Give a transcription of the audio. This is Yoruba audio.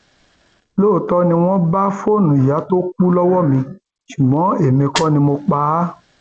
lóòótọ ni wọn bá fóònù ìyá tó kù lọwọ mi ṣùgbọn èmi kò ní mọ pa á